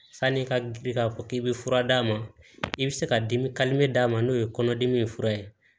Sani i ka bi k'a fɔ k'i bɛ fura d'a ma i bɛ se ka dimi d'a ma n'o ye kɔnɔdimi ye fura ye